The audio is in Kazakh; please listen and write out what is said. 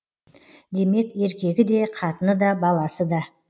демек еркегі де қатыны да баласы да